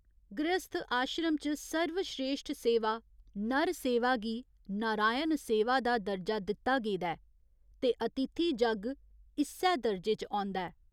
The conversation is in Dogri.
गृहस्थ आश्रम च सर्वश्रेश्ठ सेवा 'नर सेवा' गी 'नारायण सेवा' दा दर्जा दित्ता गेदा ऐ ते अतिथि जग्ग इस्सै दर्जे च औंदा ऐ।